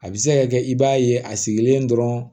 A bɛ se ka kɛ i b'a ye a sigilen dɔrɔn